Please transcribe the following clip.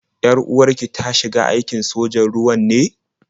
Yar-uwar ki ta shiga aikin sojan ruwa ne?